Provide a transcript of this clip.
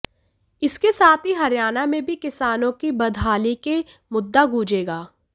इसके साथ ही हरियाणा में भी किसानों की बदहाली की मुद्दा गूंजेगा